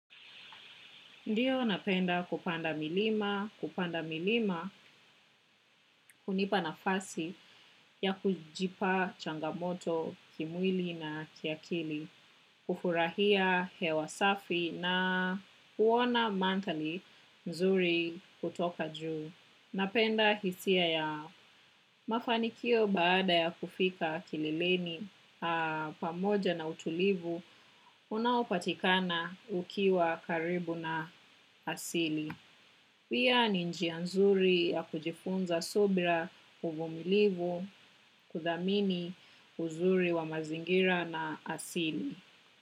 Ndiyo napenda kupanda milima, kupanda milima, hunipa nafasi ya kujipa changamoto kimwili na kiakili, kufurahia hewa safi na kuona mantali nzuri kutoka juu. Napenda hisia ya mafanikio baada ya kufika kileleni pamoja na utulivu, unaopatikana ukiwa karibu na asili. Pia ni njia nzuri ya kujifunza subra uvumilivu kudhamini uzuri wa mazingira na asili.